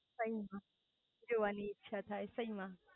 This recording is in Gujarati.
સહી માં જોવાની ઈચ્છા થાય સહી માં